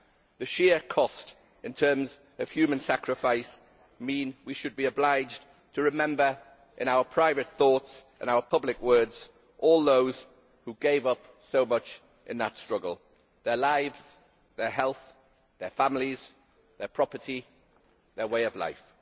The sheer cost in terms of human sacrifice mean we should be obliged to remember in our private thoughts, in our public words, all those who gave up so much in that struggle their lives, their health, their families, their property, their way of life.